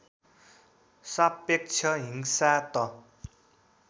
सापेक्ष हिंसा त